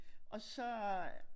Og så øh